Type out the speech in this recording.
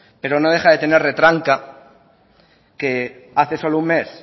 pero no deja de tener retranca que hace solo un mes